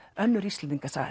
önnur Íslendingasaga